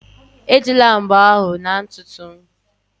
Ejila mbo ahụ na ntutu m